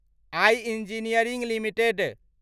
I engineering limited